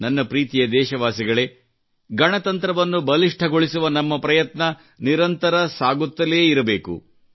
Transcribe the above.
ನನ್ನ ಪ್ರೀತಿಯ ದೇಶವಾಸಿಗಳೇ ಗಣತಂತ್ರವನ್ನು ಬಲಿಷ್ಠಗೊಳಿಸುವ ನಮ್ಮ ಪ್ರಯತ್ನ ನಿರಂತರ ಸಾಗುತ್ತಲೇ ಇರಬೇಕು